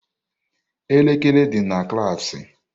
Elekere dị na klaasị.